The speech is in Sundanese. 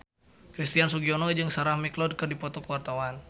Christian Sugiono jeung Sarah McLeod keur dipoto ku wartawan